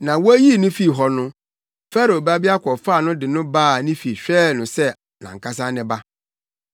na woyii no fii hɔ no, Farao babea kɔfaa no de no baa ne fi hwɛɛ no sɛ nʼankasa ne ba.